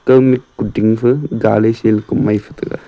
ka mih kudingfa galai shelkoh maife taiga.